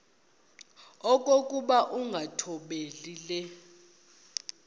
okokuba ukungathobeli le